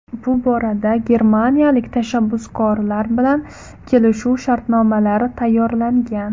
Bu borada germaniyalik tashabbuskorlar bilan kelishuv shartnomalari tayyorlangan.